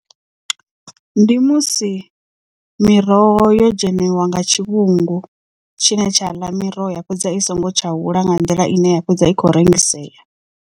Ndi musi miroho yo dzhenelwa nga tshi tshivhungu tshine tsha ḽa miroho ya fhedza i songo tsha hula nga nḓila ine ya fhedza i khou rengisea.